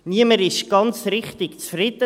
Also: Niemand ist ganz richtig zufrieden.